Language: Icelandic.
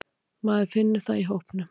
Maður finnur það í hópnum.